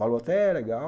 Valor até, legal.